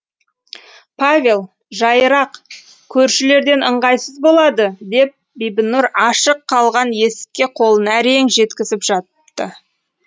павел жайырақ көршілерден ыңғайсыз болады деп бибінұр ашық қалған есікке қолын әрең жеткізіп жапты